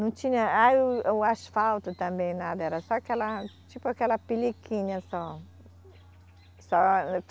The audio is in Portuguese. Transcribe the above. Não tinha, ah e o, o asfalto também nada, era só aquela, tipo aquela peliquinha só. Só